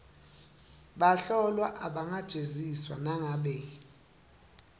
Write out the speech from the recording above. bahlolwa abangajeziswa nangabe